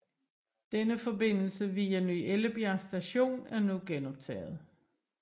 Denne forbindelse via Ny Ellebjerg Station er nu genoptaget